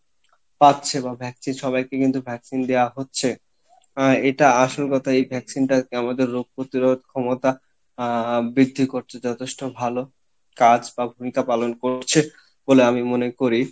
পাচ্ছে বা vaccine সবাইকে কিন্তু vaccine দেওয়া হচ্ছে আহ এটা আসল কথা এই vaccine টা আমাদের রোগ প্রতিরোধ ক্ষমতা আহ বৃদ্ধি করছে যথেষ্ঠ ভালো কাজ পালন করছে, বলে আমি মনে করি